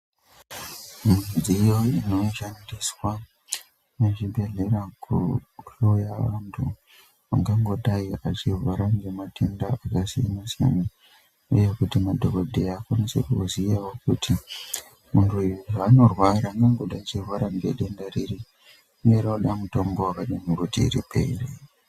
Midziyo ino shandiswa mu zvibhedhlera ku hloya vantu vangango dai achirwara nge matenda aka siyana siyana uye kuti madhokodheya akwanise kuziyawo kuti muntu uyu zvanorwara anombo dai achi rwara nge denda riri uye rinoda mutombo wakadi kuti ripere.